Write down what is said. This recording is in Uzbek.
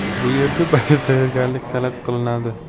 Bu yerda ba’zi tayyorgarliklar talab qilinadi.